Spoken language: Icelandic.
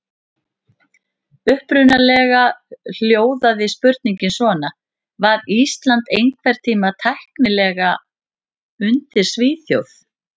Upprunalega hljóðaði spurningin svona: Var Ísland einhvern tímann tæknilega undir Svíþjóð?